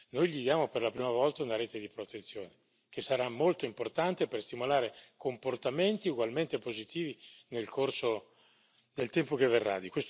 Noi gli diamo, per la prima volta, una rete di protezione che sarà molto importante per stimolare comportamenti ugualmente positivi nel corso del tempo che verrà.